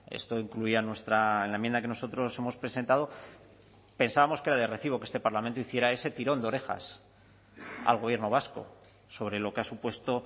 esto incluía en la enmienda que nosotros hemos presentado pensábamos que era de recibo que este parlamento hiciera ese tirón de orejas al gobierno vasco sobre lo que ha supuesto